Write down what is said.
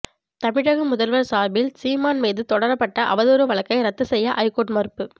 தமிழக முதல்வர் சார்பில் சீமான் மீது தொடரப்பட்ட அவதூறு வழக்கை ரத்து செய்ய ஐகோர்ட் மறுப்பு